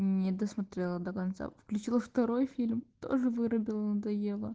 не досмотрела до конца включила второй фильм тоже вырубила надоело